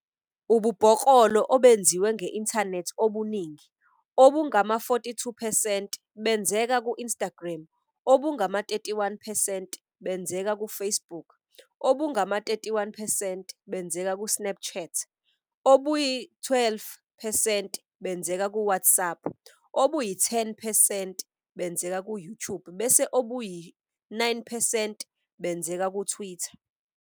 Ububhoklolo obenziwa nge-inthanethi obuningi, obungama-42 percent, benzeka ku-Instagram, obungama-31 percent benzeka ku-Facebook, obungama-31 percent benzeka ku-Snapchat, obuyi-12 percent benzeka ku-WhatsApp, obuyi-10 percent benzeka ku-YouTube bese obuyi-9 percent benzeka kuTwitter.